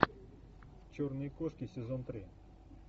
черные кошки сезон три